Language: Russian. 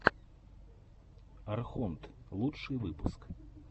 архонт лучший выпуск